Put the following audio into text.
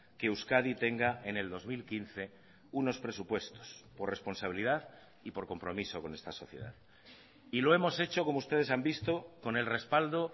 que euskadi tenga en el dos mil quince unos presupuestos por responsabilidad y por compromiso con esta sociedad y lo hemos hecho como ustedes han visto con el respaldo